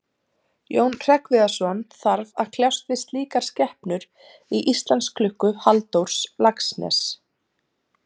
Jón Hreggviðsson þarf að kljást við slíkar skepnur í Íslandsklukku Halldórs Laxness.